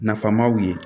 Nafamaw ye